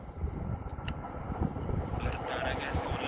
আর তার আগে so online,